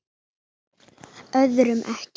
Öðrum ekki.